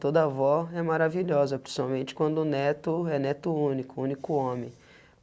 Toda avó é maravilhosa, principalmente quando o neto é neto único, único homem.